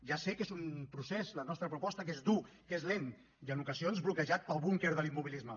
ja sé que és un procés la nostra proposta que és dur que és lent i en ocasions bloquejat pel búnquer de l’immobilisme